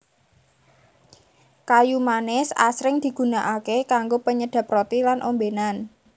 Kayu manis asring digunakaké kanggo penyedhep roti lan ombénan